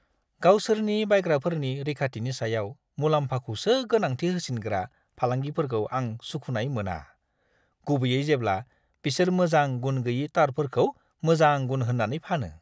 गावसोरनि बायग्राफोरनि रैखाथिनि सायाव मुलाम्फाखौसो गोनांथि होसिनग्रा फालांगिफोरखौ आं सुखुनाय मोना, गुबैयै जेब्ला बिसोर मोजां गुन-गोयि तारफोरखौ मोजां गुन होन्नानै फानो।